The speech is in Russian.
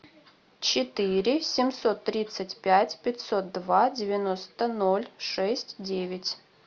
четыре семьсот тридцать пять пятьсот два девяносто ноль шесть девять